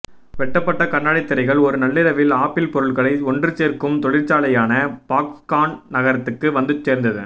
வெட்டப்பட்ட கண்ணாடி திரைகள் ஒரு நள்ளிரவில் ஆப்பிள் பொருட்களை ஒன்று சேர்க்கும் தொழிற்சாலையான பாக்ஸ்கான் நகரத்துக்கு வந்து சேர்ந்தன